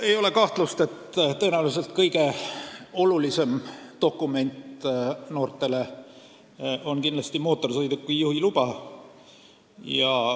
Ei ole kahtlust, et kõige olulisem dokument noortele on mootorsõiduki juhi luba.